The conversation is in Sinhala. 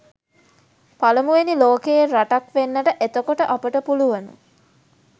පළමුවෙනි ලෝකයේ රටක් වෙන්නට එතකොට අපට පුළුවන.